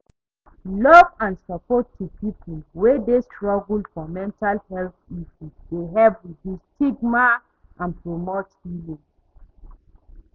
Love and support to people wey dey struggle for mental health issues dey help reduce stigma and promote healing.